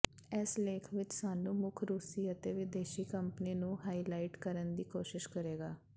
ਇਸ ਲੇਖ ਵਿਚ ਸਾਨੂੰ ਮੁੱਖ ਰੂਸੀ ਅਤੇ ਵਿਦੇਸ਼ੀ ਕੰਪਨੀ ਨੂੰ ਹਾਈਲਾਈਟ ਕਰਨ ਦੀ ਕੋਸ਼ਿਸ਼ ਕਰੇਗਾ